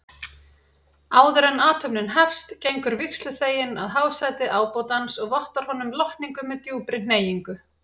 Áðuren athöfnin hefst gengur vígsluþeginn að hásæti ábótans og vottar honum lotningu með djúpri hneigingu.